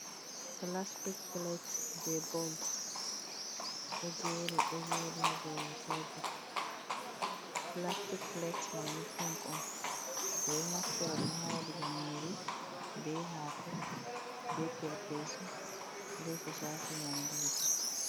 Pilastik Pilet, be bols ɗo jeri ɗo joɗi ha dou tebur. Pilastik Pilet maini Pink on ɗon Naftira ɗum ha waɗugo Nyiri be hako ,be Perpesu be ko shafi Nyamduji.